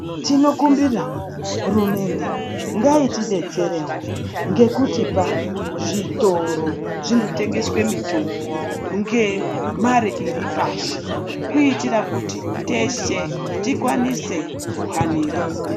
Tinomumbira hurumende ngaitidetserewo ngekutipa zvitoro zvinotengeswe mitombo ngemare iri pashi kuitira kuti teshe tikwanise kuhanira.